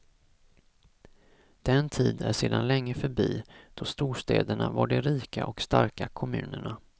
Den tid är sedan länge förbi då storstäderna var de rika och starka kommunerna.